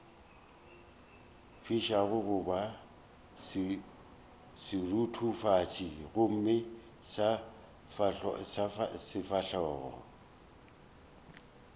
fišago goba seruthufatši gomme sefahlogo